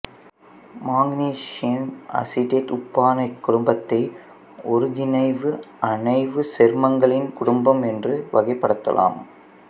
மாங்கனீசின் acetate உப்பான இக்குடும்பத்தை ஒருங்கிணைவு அணைவுச் சேர்மங்களின் குடும்பம் என்றும் வகைப்படுத்தலாம்